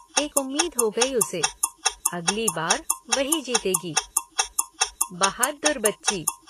एक उम्मीद हो गई उसे। अगली बार वही जीतेगी। बहादुर बच्ची।